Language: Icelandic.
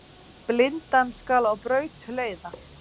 Blindan skal á braut leiða.